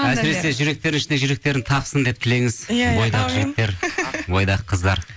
әсіресе жүректер ішінде жүректерін тапсын деп тілеңіз иә бойдақ жігіттер бойдақ қыздар